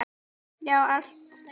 Já, allt!